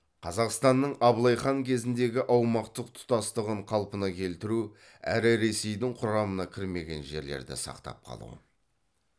қазақстанның абылай хан кезіндегі аумақтық тұтастығын қалпына келтіру әрі ресейдің құрамына кірмеген жерлерді сақтап қалу